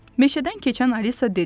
Meşədən keçən Alisa dedi.